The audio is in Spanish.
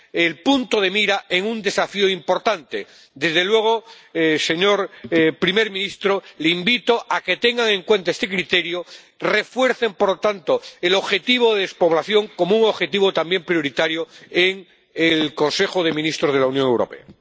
el punto de mira en un desafío importante. Desde luego, señor primer ministro, le invito a que tengan en cuenta este criterio refuercen, por lo tanto, el objetivo de despoblación como objetivo también prioritario en el Consejo de Ministros de la Unión Europea.